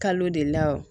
Kalo de la wo